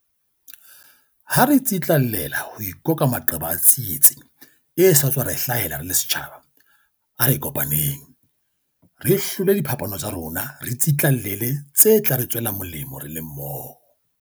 Ha re tsitlallela ho ikoka maqeba a tsietsi e sa tswa re hlahela re le setjhaba, a re kopaneng. Re hlole diphapano tsa rona re tsitlallele tse tla re tswela molemo re le mmoho.